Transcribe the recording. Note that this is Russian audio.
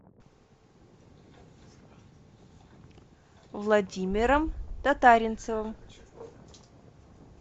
владимиром татаринцевым